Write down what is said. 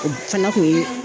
O fana kun ye